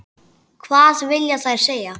Hvað vilja þær segja?